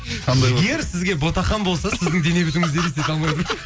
жігер сізге ботақан болса сіздің дене бітіміңізді елестете алмадым